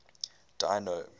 dino